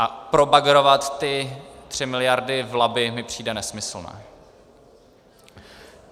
A probagrovat ty tři miliardy v Labi mi přijde nesmyslné.